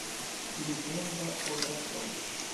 легенда о драконе